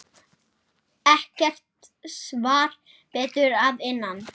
Ekkert svar barst að innan.